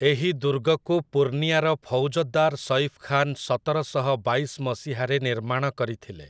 ଏହି ଦୁର୍ଗକୁ ପୂର୍ଣ୍ଣିଆର ଫୌଜଦାର୍ ସୈଫ୍ ଖାନ୍ ସତର ଶହ ବାଇଶ ମସିହାରେ ନିର୍ମାଣ କରିଥିଲେ ।